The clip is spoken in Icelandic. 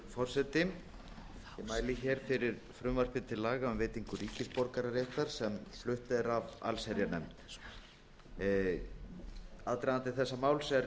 mæli hér fyrir frumvarpi til laga um veitingu ríkisborgararéttar sem flutt er af allsherjarnefnd aðdragandi þessa máls er